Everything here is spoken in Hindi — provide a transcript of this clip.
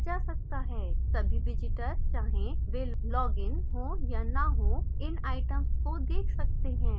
सभी visitors चाहे वे लॉगइन हों या न हों इन items को देख सकते हैं